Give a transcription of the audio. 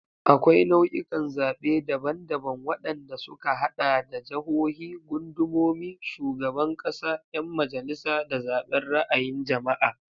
Akwai nau'ikan zaɓe daban-daban, waɗanda suka haɗa da jahohi, gundumomi, shugaban ƙasa, 'yan majalisa, da zaɓen ra'ayin jama'a.